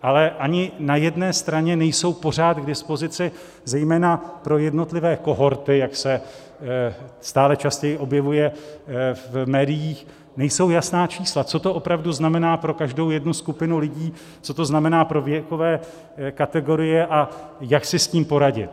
Ale ani na jedné straně nejsou pořád k dispozici, zejména pro jednotlivé kohorty, jak se stále častěji objevuje v médiích, nejsou jasná čísla, co to opravdu znamená pro každou jednu skupinu lidí, co to znamená pro věkové kategorie a jak si s tím poradit.